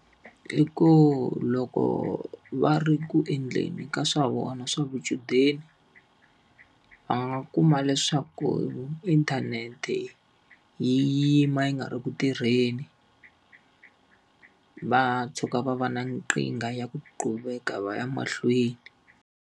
I ku loko va ri ku endleni ka swa vona swa vuchudeni, va nga kuma leswaku inthanete yi yima yi nga ri ku tirheni. Va tshuka va va na nkingha ya ku qhubeka va ya emahlweni.